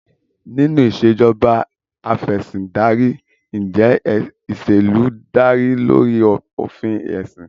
Nínú Ìṣèjọba Af'ẹ̀sìndarí, ǹjẹ́ ìṣèlú dá lórí òfin ẹ̀sìn?